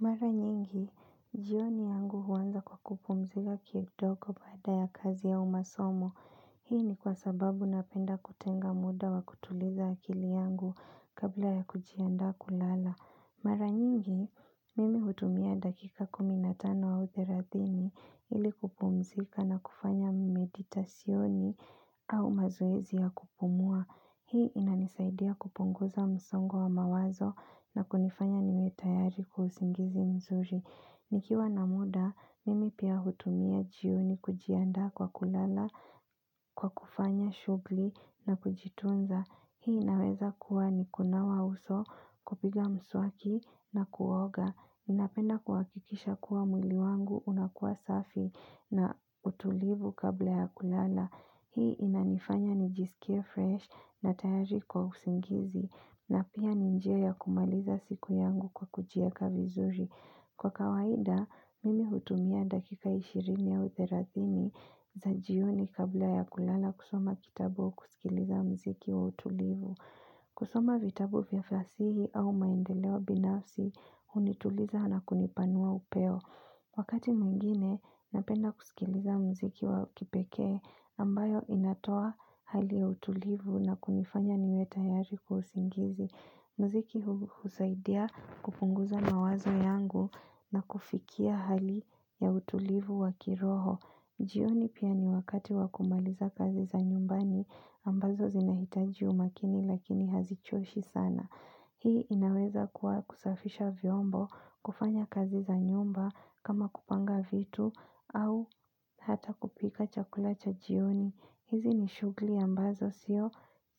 Mara nyingi, jioni yangu huanza kwa kupumzika kidogo baada ya kazi au masomo. Hii ni kwa sababu napenda kutenga muda wa kutuliza akili yangu kabla ya kujiandaa kulala. Mara nyingi, mimi hutumia dakika 15 au 30 ili kupumzika na kufanya meditasyoni au mazoezi ya kupumua. Hii inanisaidia kupunguza msongo wa mawazo na kunifanya niwe tayari kwa usingizi mzuri. Nikiwa na muda, mimi pia hutumia jioni kujiandaa kwa kulala, kwa kufanya shughuli na kujitunza. Hii inaweza kuwa ni kunawa uso kupiga mswaki na kuoga. Napenda kuhakikisha kuwa mwili wangu unakua safi na utulivu kabla ya kulala. Hii inanifanya nijisikie fresh na tayari kwa usingizi, na pia ni njia ya kumaliza siku yangu kwa kujiweka vizuri. Kwa kawaida, mimi hutumia dakika 20 au 30 za jioni kabla ya kulala kusoma kitabu kusikiliza muziki wa utulivu. Kusoma vitabu vya fasihi au maendelewa binafsi hunituliza na kunipanua upeo. Wakati mwingine, napenda kusikiliza muziki wa kipekee ambayo inatoa hali ya utulivu na kunifanya niwe tayari kwa usingizi. Muziki husaidia kupunguza mawazo yangu na kufikia hali ya utulivu wa kiroho. Jioni pia ni wakati wakumaliza kazi za nyumbani ambazo zinahitaji umakini lakini hazichoshi sana. Hii inaweza kuwa kusafisha vyombo, kufanya kazi za nyumba kama kupanga vitu au hata kupika chakula cha jioni. Hizi ni shughuli ambazo sio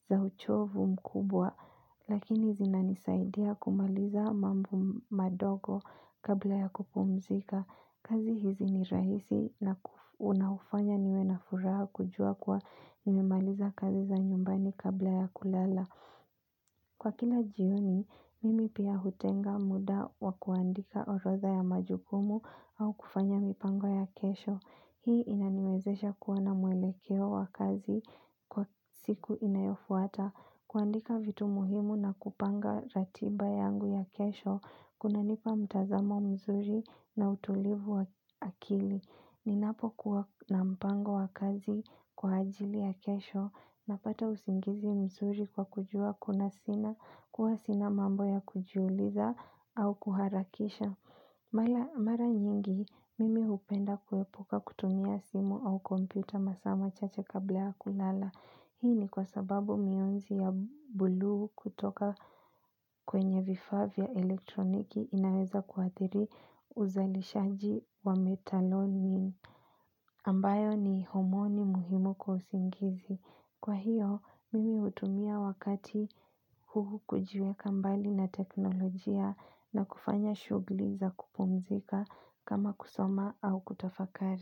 za uchovu mkubwa lakini zinanisaidia kumaliza mambo madogo kabla ya kupumzika. Kazi hizi ni rahisi na unaufanya niwe na furaha kujua kuwa nimemaliza kazi za nyumbani kabla ya kulala. Kwa kila jioni, mimi pia hutenga muda wa kuandika orodha ya majukumu au kufanya mipango ya kesho. Hii inaniwezesha kuwa na mwelekeo wa kazi kwa siku inayofuata. Kuandika vitu muhimu na kupanga ratiba yangu ya kesho, kunanipa mtazamo mzuri na utulivu wa akili. Ninapo kuwa na mpango wa kazi kwa ajili ya kesho, napata usingizi mzuri kwa kujua, kuwa sina mambo ya kujiuliza au kuharakisha. Mara nyingi, mimi hupenda kuepuka kutumia simu au komputa masaa machache kabla ya kulala. Hii ni kwa sababu mionzi ya buluu kutoka kwenye vifaa vya elektroniki inaweza kuadhiri uzalishaji wa metalonin ambayo ni homoni muhimu kwa usingizi. Kwa hiyo, mimi hutumia wakati huu kujiweka mbali na teknolojia na kufanya shughuli za kupumzika kama kusoma au kutafakari.